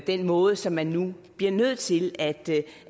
den måde som man nu bliver nødt til